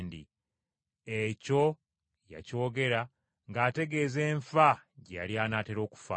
Ekyo yakyogera ng’ategeeza enfa gye yali anaatera okufaamu.